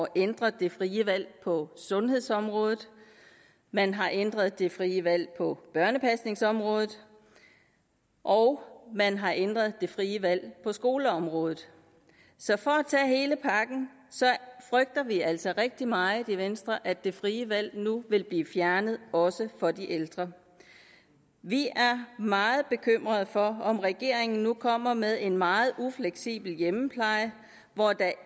ændre det frie valg på sundhedsområdet man har ændret det frie valg på børnepasningsområdet og man har ændret det frie valg på skoleområdet så for at tage hele pakken frygter vi altså rigtig meget i venstre at det frie valg nu vil blive fjernet også for de ældre vi er meget bekymrede for om regeringen nu kommer med en meget ufleksibel hjemmepleje